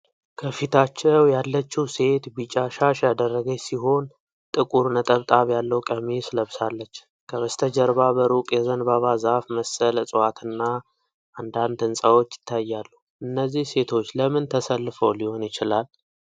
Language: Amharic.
ከፊታቸው ያለችው ሴት ቢጫ ሻሽ ያደረገች ሲሆን፣ ጥቁር ነጠብጣብ ያለው ቀሚስ ለብሳለች። ከበስተጀርባ በሩቅ የዘንባባ ዛፍ መሰል እጽዋትና አንዳንድ ሕንፃዎች ይታያሉ። እነዚህ ሴቶች ለምን ተሰልፈው ሊሆን ይችላል?